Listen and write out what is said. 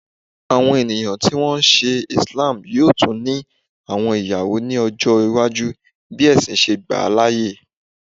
Awọn eniyan ti wọn nṣe Islam yoo tun ni awọn iyawo ni ọjọ iwaju bi ẹsin ṣe gba laaye